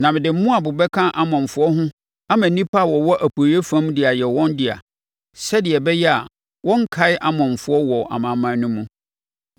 Na mede Moab bɛka Amonfoɔ ho ama nnipa a wɔwɔ Apueeɛ fam de ayɛ wɔn dea, sɛdeɛ ɛbɛyɛ a wɔrenkae Amonfoɔ wɔ amanaman no mu;